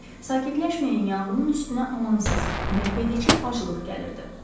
Sakitləşməyən yanğının üstünə amansız, məhvedici aclıq gəlirdi.